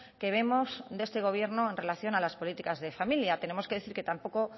que vemos de este gobierno en relación a las políticas de familia tenemos que decir que tampoco